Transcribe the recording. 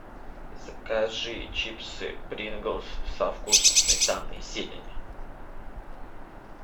закажи чипсы принглс со вкусом сметаны и зелени